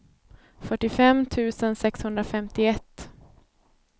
fyrtiofem tusen sexhundrafemtioett